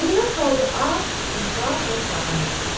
Zeynəb qaldı ac, çılpaq və sahibsiz.